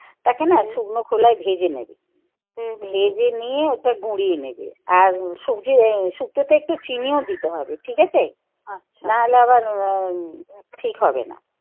তাকে না শুকনো খোলায় ভেজে নেবে হুম হুম ভেজে নিয়ে ওটা গুঁড়িয়ে নেবে. আর শুক্তো তে একটু চিনিও দিতে হবে. ঠিক আছে. না হলে আবার ঠিক হবে না.